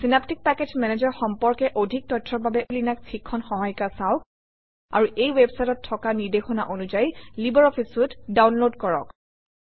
Synaptic package manager সম্পৰ্কে অধিক তথ্যৰ বাবে লিনাস শিক্ষণ সহায়িকা চাওক আৰু এই ৱেবচাইটত থকা নিৰ্দেশনা অনুযায়ী লাইব্ৰঅফিছ চুইতে ডাউনলোড কৰক